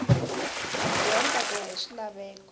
madyondza ku ya hi swilaveko